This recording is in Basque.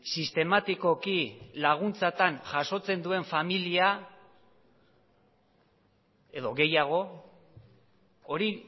sistematikoki laguntzatan jasotzen duen familia edo gehiago hori